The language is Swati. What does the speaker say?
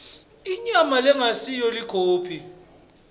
inyama lengasiyo ikhophi